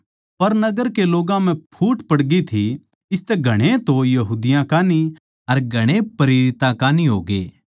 पर नगर के लोग्गां म्ह फूट पड़गी थी इसतै घणेए तो यहूदियाँ कान्ही अर घणेए प्रेरितां कान्ही होग्ये